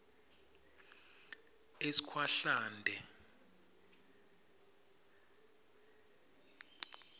eskhwahlande